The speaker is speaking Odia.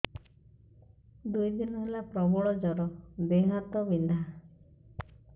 ଦୁଇ ଦିନ ହେଲା ପ୍ରବଳ ଜର ଦେହ ହାତ ବିନ୍ଧା